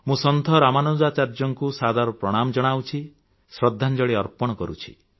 ମୁଁ ସନ୍ଥ ରାମାନୁଜାଚାର୍ଯ୍ୟଙ୍କୁ ସାଦର ପ୍ରଣାମ ଜଣାଉଛି ଶ୍ରଦ୍ଧାଞ୍ଜଳି ଅର୍ପଣ କରୁଛି